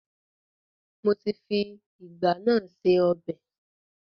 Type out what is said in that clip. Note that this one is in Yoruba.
Mo ti fi ìgbá náà se ọbẹ̀